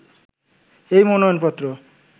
এই মনোনয়ন পত্র